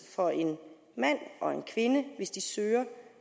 for en mand og kvinde hvis de søger